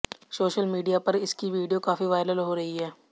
social media पर इसकी video काफी वायरल हो रही है